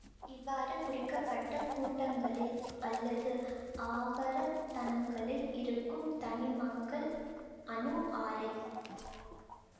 இவ்வாறு குறிக்கப்பட்ட கூட்டங்களில் அல்லது ஆவர்த்தனங்களில் இருக்கும் தனிமங்கள் அணு ஆரை